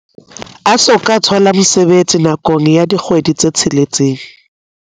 a soka a thola mosebetsi nakong ya dikgwedi tse tsheletseng.